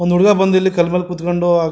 ಒಂದ್ ಹುಡುಗ ಬಂದು ಇಲ್ಲಿ ಕಲ್ ಮೇಲೆ ಕುತ್ಕಂಡು --